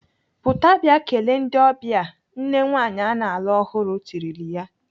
"Pụta bịa kelee ndị ọbịa!" Nne nwaanyị ana alụ ọhụrụ tirile ya.